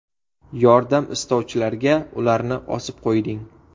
Yordam istovchilarga ularni osib qo‘yding.